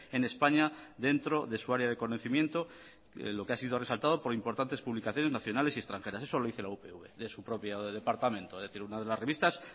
en españa dentro de su área de conocimiento lo que ha sido resaltado por importantes publicaciones nacionales y extranjeras eso lo dice la upv de su propio departamento es decir una de las revistas